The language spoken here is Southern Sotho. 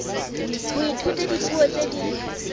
ho ithuta dipuo tse ding